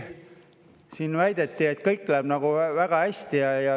Siin väideti, et kõik läheb väga hästi.